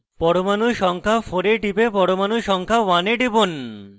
পরমাণু সংখ্যা 4 এ টিপে পরমাণু সংখ্যা 1 এ টিপুন